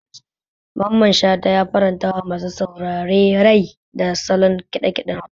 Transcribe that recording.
Mamman Shata ya farantawa masu saurare rai da salon ƙiɗa ƙiɗen Hausa.